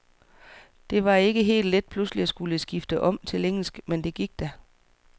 Det var ikke helt let pludselig at skulle skifte om til engelsk, men det gik da.